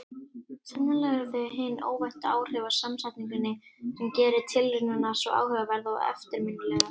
Sennilega eru það hin óvæntu áhrif af samsetningunni sem gerir tilraunina svo áhugaverða og eftirminnilega.